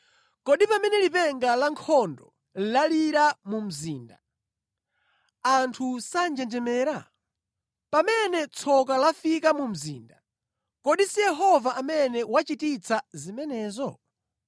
Kodi pamene lipenga la nkhondo lalira mu mzinda, anthu sanjenjemera? Pamene tsoka lafika mu mzinda, kodi si Yehova amene wachititsa zimenezo?